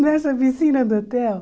Nessa piscina do hotel.